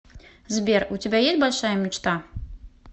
сбер у тебя есть большая мечта